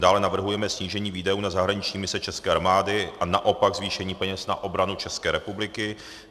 dále navrhujeme snížení výdajů na zahraniční mise české armády a naopak zvýšení peněz na obranu České republiky;